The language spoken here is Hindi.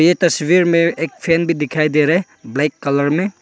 तस्वीर में एक फैन भी दिखाई दे रहा है ब्लैक कलर में।